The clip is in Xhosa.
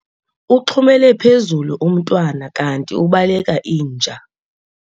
Uxhumele phezulu umntwana kanti ubaleka inja.